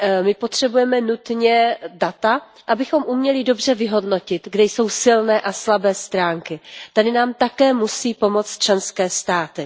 My potřebujeme nutně data, abychom uměli dobře vyhodnotit, kde jsou silné a slabé stránky. Tady nám také musí pomoci členské státy.